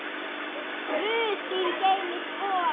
Guð þín geymi spor.